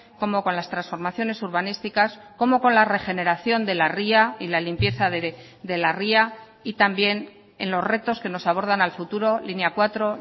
como con las transformaciones urbanísticas como con la regeneración de la ría y la limpieza de la ría y también en los retos que nos abordan al futuro línea cuatro